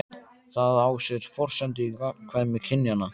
Það á sér forsendu í gagnkvæmni kynjanna.